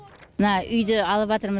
мына үйді алыватырмыз